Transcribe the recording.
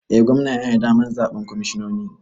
Eh gwamna yana da damar zaɓen kwamishinoninsa